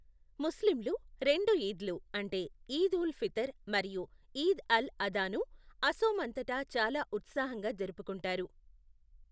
ముస్లింలు రెండు ఈద్లు అంటే ఈద్ ఉల్ ఫితర్ మరియు ఈద్ అల్ అధా ను అసోమ్ అంతటా చాలా ఉత్సాహంగా జరుపుకుంటారు.